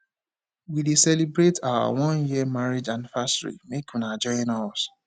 we dey celebrate our one year marriage anniversary make una join us